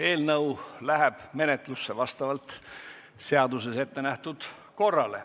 Eelnõu läheb menetlusse vastavalt seaduses ettenähtud korrale.